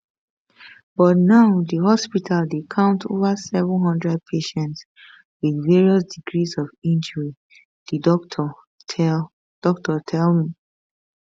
but now di hospital dey count over 700 patients with various degrees of injury di doctor tell doctor tell me